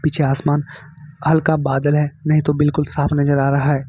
पीछे आसमान हल्का बादल है नहीं तो बिल्कुल साफ नजर आ रहा है।